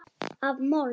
Af mold.